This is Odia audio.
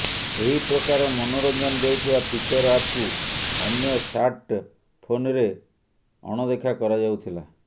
ଏହି ପ୍ରକାର ମନୋରଞ୍ଜନ ଦେଉଥିବା ଫିଚର୍ ଆପ୍କୁ ଅନ୍ୟ ସାର୍ଟ୍ ଫୋନ୍ରେ ଅଣଦେଖା କରାଯାଉଥିଲା